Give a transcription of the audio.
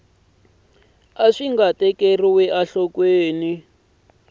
a swi nga tekeriwi enhlokweni